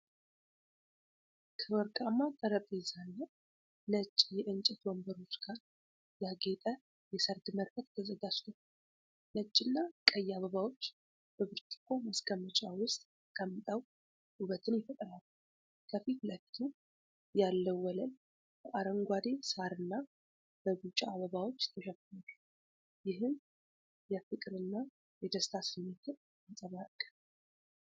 ከወርቃማ ጠረጴዛና ነጭ የእንጨት ወንበሮች ጋር ያጌጠ የሰርግ መድረክ ተዘጋጅቷል። ነጭና ቀይ አበባዎች በብርጭቆ ማስቀመጫ ውስጥ ተቀምጠው ውበትን ይፈጥራሉ። ከፊት ለፊቱ ያለው ወለል በአረንጓዴ ሳርና በቢጫ አበባዎች ተሸፍኗል፤ ይህም የፍቅርና የደስታ ስሜትን ያንጸባርቃል።